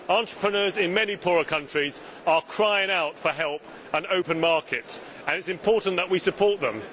Entrepreneurs in many poorer countries are crying out for help and open markets and it is important that we support them.